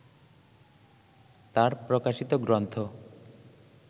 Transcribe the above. তাঁর প্রকাশিত গ্রন্থ